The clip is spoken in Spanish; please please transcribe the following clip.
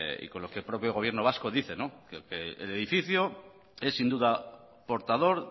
y con lo que el propio gobierno vasco dice que el edificio es sin duda portador